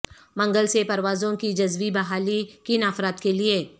منگل سے پروازوں کی جزوی بحالی کن افراد کے لیے